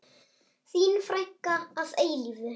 Þín frænka að eilífu.